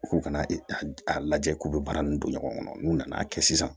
U k'u ka na a lajɛ k'u bɛ baara nin don ɲɔgɔn kɔnɔ n'u nana kɛ sisan